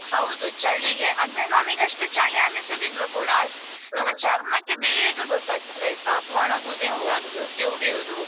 ಹೌದು ಚಳಿಗೆ ಅಂದ್ರೆ ನಮಿಗೆ ಅಷ್ಟು ಚಳಿ ಅನ್ನಿಸದಿದ್ರೂ ಕೂಡ ನಮ್ಮ ಚರ್ಮಕ್ಕೆ ಬೇಗ ಗೊತ್ತಾಗ್ತದೆ ಆಯ್ತಾ ಒಣಗುದು ಎಂತ ತುಟಿ ಒಡೆಯುದು.